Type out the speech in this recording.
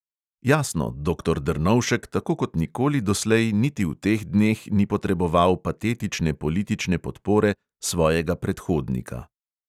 Jasno, doktor drnovšek tako kot nikoli doslej niti v teh dneh ni potreboval patetične politične podpore svojega predhodnika.